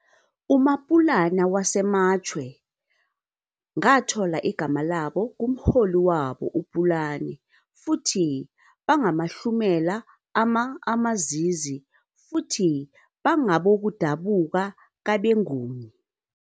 UMapulana waseMatshwe ngathola igama labo kumholi wabo uPulane futhi bangamahlumela ama-Amazizi futhi bangabokudabuka kabeNguni.